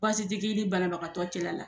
Baasi ti k'i ni banabagatɔ cɛla la.